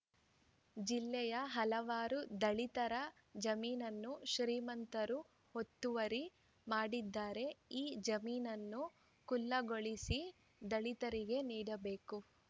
ಜಿಲ್ಲೆಯ ಹಲವಾರು ದಲಿತರ ಜಮೀನನ್ನು ಶ್ರೀಮಂತರು ಒತ್ತುವರಿ ಮಾಡಿದ್ದಾರೆ ಈ ಜಮೀನನ್ನು ಖುಲ್ಲಾಗೊಳಿಸಿ ದಲಿತರಿಗೆ ನೀಡಬೇಕು